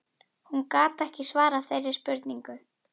Hún gat ekki svarað þeirri spurningu.